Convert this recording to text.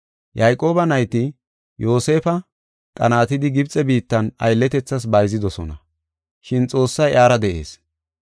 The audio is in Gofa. “Yayqooba nayti Yoosefa qanaatidi Gibxe biittan aylletethas bayzidosona, shin Xoossay iyara de7ees.